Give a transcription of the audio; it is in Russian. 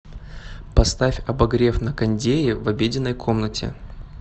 поставь обогрев на кондее в обеденной комнате